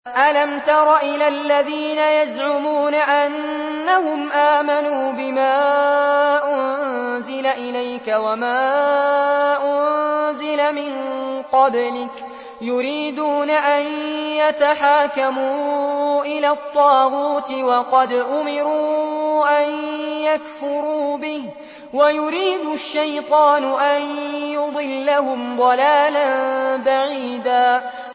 أَلَمْ تَرَ إِلَى الَّذِينَ يَزْعُمُونَ أَنَّهُمْ آمَنُوا بِمَا أُنزِلَ إِلَيْكَ وَمَا أُنزِلَ مِن قَبْلِكَ يُرِيدُونَ أَن يَتَحَاكَمُوا إِلَى الطَّاغُوتِ وَقَدْ أُمِرُوا أَن يَكْفُرُوا بِهِ وَيُرِيدُ الشَّيْطَانُ أَن يُضِلَّهُمْ ضَلَالًا بَعِيدًا